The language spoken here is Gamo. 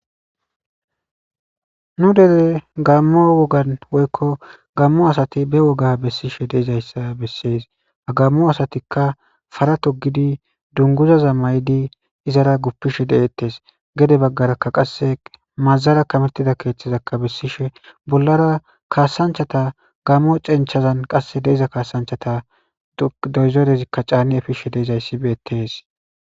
Nu dere gaamo wogan woyko gaamo asati ba woga besishe de'izaysa beses, ha gaamo asatika para togid dunguzaza mayid izara gupishe de'etes, gede bagaraka qase mazara kametida kethazaka besishe bollara kasanchata gaamo cenchan de'iza kasanchata doyzorezika can efizays betes.